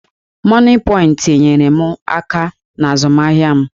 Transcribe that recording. Mọnịpọịntị nyeere m aka n'azụmahịa m.